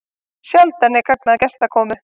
Sjaldan er gagn að gestakomu.